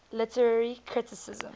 literary criticism